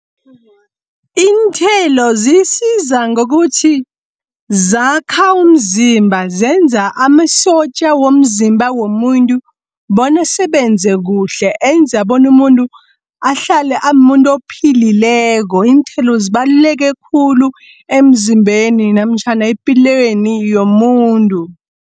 Iinthelo zisiza ngokuthi, zakha umzimba zenza amasotja womzimba womuntu bonasebenze kuhle. Enza bona umuntu ahlale amuntu ophilileko. Iinthelo zibaluleke khulu emzimbeni namtjhana epilweni yomuntu.